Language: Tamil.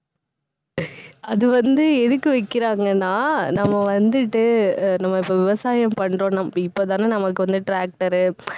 அது வந்து, எதுக்கு வைக்கறாங்கன்னா நம்ம வந்துட்டு அஹ் நம்ம இப்ப விவசாயம் பண்றோம். இப்பதானே நமக்கு வந்து tractor உ